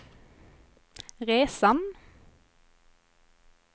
resan